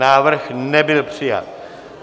Návrh nebyl přijat.